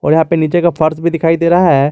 यहां पर नीचे का फर्श भी दिखाई दे रहा है।